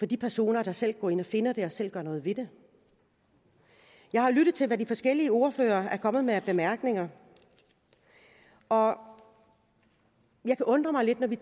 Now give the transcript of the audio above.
de personer der selv går ind og finder den og selv gør noget ved det jeg har lyttet til hvad de forskellige ordførere er kommet med af bemærkninger og jeg kan undre mig lidt vi